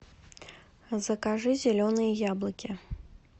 закажи зеленые яблоки